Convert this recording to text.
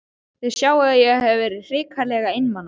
Þið sjáið að ég hef verið hrikalega einmana!